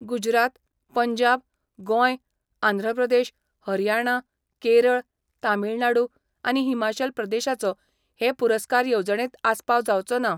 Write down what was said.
गुजरात, पंजाब, गोंय आंध्रप्रदेश, हरयाणा, केरळ, तामीळनाडु आनी हिमाचल प्रदेशाचो हे पुरस्कार येवजणेंत आसपाव जावचो ना.